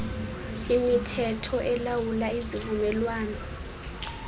imithetho elawula izivumelwano